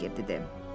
Tayger dedi.